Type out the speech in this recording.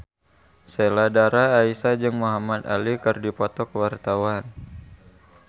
Sheila Dara Aisha jeung Muhamad Ali keur dipoto ku wartawan